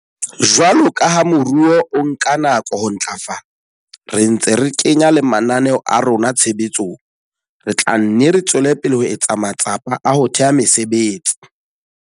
Jwalo ka ha moruo o nka nako ho ntlafala, re ntse re kenya le mananeo a rona tshebetsong, re tla nne re tswele pele ho etsa matsapa a ho theha mesebetsi.